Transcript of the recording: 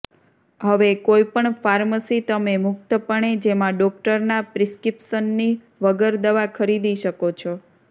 હવે કોઈપણ ફાર્મસી તમે મુક્તપણે જેમાં ડોકટરના પ્રિસ્ક્રીપ્શનની વગર દવા ખરીદી શકો છો